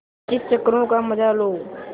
पच्चीस चक्करों का मजा लो